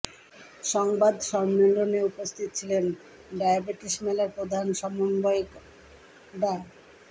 সংবাদ সম্মেলনে উপস্থিত ছিলেন ডায়াবেটিস মেলার প্রধান সমন্বয়ক ডা